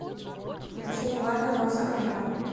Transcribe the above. включи неважно макса коржа